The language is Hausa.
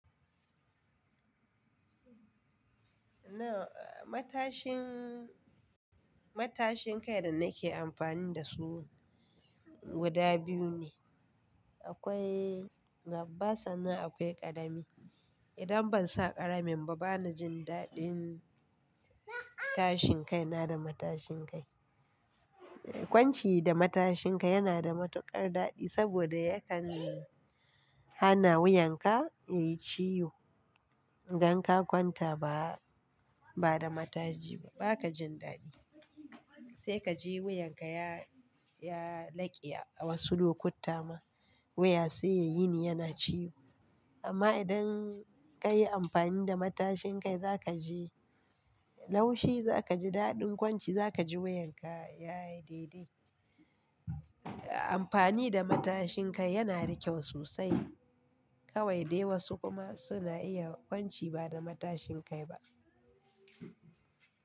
Na matashin, matashin kai da nake amfani da su guda biyu ne. Akwai nabasa nan akwai karami. Idan ban sa ƙaramin ba bana jin daɗin tashin kai na da matashin kai. Kwanci da matashin kai yana da matuƙar daɗi saboda yakan hana wuyanka yayi ciwo. Dan ka kwanta ba, ba da matashi ba baka jin daɗi. Sai ka ji wuyanka ya, ya laƙe a wasu lokuta ma wuya sai ya yini yana ciwo. Amma idan kayi amfani da matashin kai zaka ji laushi, zaka ji daɗin kwanci zaka ji wuyanka yayi daidai. Amfani da matashin kai yana da kyau sosai. Kawai dai wasu kuma suna iya kwanci ba da matashin kai ba.